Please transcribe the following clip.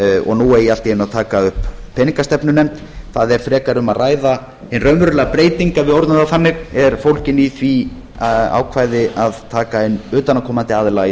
og nú eigi allt í einu að taka upp peningastefnunefnd það er frekar um að ræða hin raunverulega breyting ef við orðum það þannig er fólgin í því ákvæði að taka inn utanaðkomandi aðila í